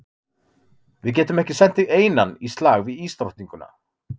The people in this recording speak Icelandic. Við getum ekki sent þig einann í slag við ísdrottninguna.